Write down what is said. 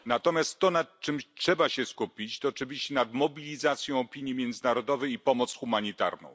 Natomiast to, nad czym trzeba się skupić, to oczywiście mobilizacja opinii międzynarodowej i pomoc humanitarna.